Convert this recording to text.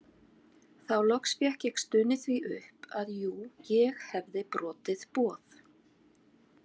Þá loks fékk ég stunið því upp að jú ég hefði brotið boð